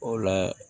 O la